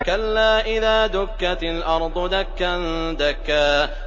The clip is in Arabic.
كَلَّا إِذَا دُكَّتِ الْأَرْضُ دَكًّا دَكًّا